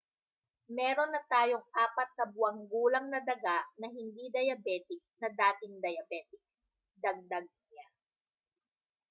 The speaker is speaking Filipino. mayroon na tayong 4 na buwang gulang na daga na hindi diabetic na dating diabetic dagdag niya